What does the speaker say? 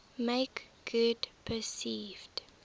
make good perceived